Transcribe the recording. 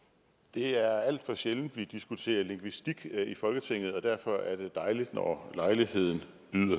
det er alt for sjældent vi diskuterer lingvistik i folketinget og derfor er det dejligt når lejligheden